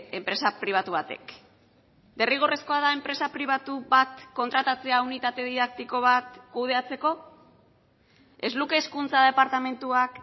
enpresa pribatu batek derrigorrezkoa da enpresa pribatu bat kontratatzea unitate didaktiko bat kudeatzeko ez luke hezkuntza departamentuak